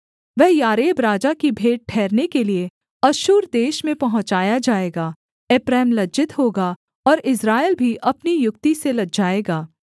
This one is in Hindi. वह यारेब राजा की भेंट ठहरने के लिये अश्शूर देश में पहुँचाया जाएगा एप्रैम लज्जित होगा और इस्राएल भी अपनी युक्ति से लजाएगा